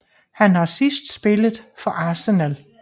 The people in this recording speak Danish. Han har sidst spillet for Arsenal